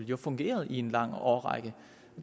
jo fungeret i en lang årrække